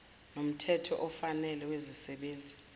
nomthetho ofanele wezisebenzi